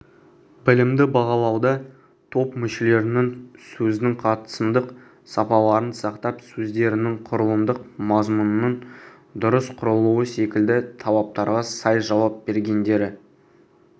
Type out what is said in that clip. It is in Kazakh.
білімді бағалауда топ мүшелерінің сөздің қатысымдық сапаларын сақтап сөздерінің құрылымдық мазмұнының дұрыс құрылуы секілді талаптарға сай жауап бергендері